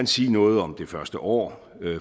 sige noget om det første år